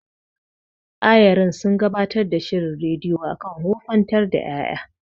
Ayarin sun gabatar da shirin rediyo akan wofantar da ƴaƴa.